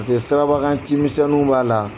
Paseke sirabakan cimisɛnninw b'a la.